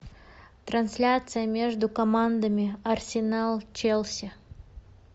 трансляция между командами арсенал челси